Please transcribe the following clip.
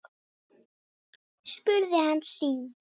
spurði hann síðan.